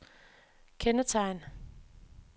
kendetegn